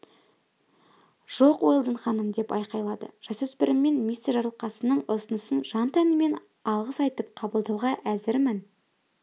жоқ уэлдон ханым деп айқайлады жасөспіріммен мистер жарылқасынның ұсынысын жан-тәніммен алғыс айтып қабылдауға әзірмін